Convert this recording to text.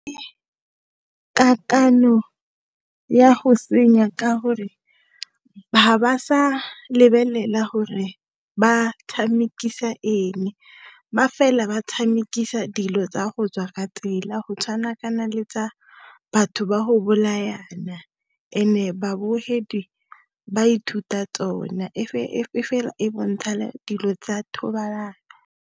Kakanyo ya go senya ka gore ha ba sa lebelela gore ba tshamekisana eng ba fela ba tshamekisana di dilo tsa go tswa ka tsela go tshwana kana le tsa batho ba go bolayana babogedi ba ithuta tsona e fela e bontsha dilo tsa thobalano.